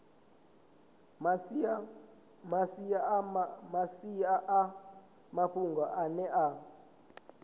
masia a mafhungo ane a